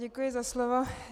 Děkuji za slovo.